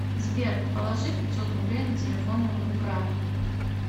сбер положи пятьсот рублей на телефон моему брату